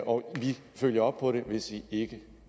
og at vi følger op på det hvis de ikke